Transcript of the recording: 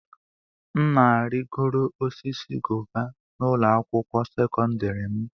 M na-arịgoro osisi guava na ụlọ akwụkwọ sekọndrị m.